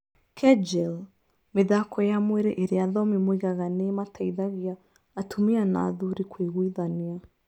Kegel: Mĩthako ya mwĩrĩ ĩrĩa athomi moigaga nĩ ĩmateithagia atumia na athuri kũiguithania.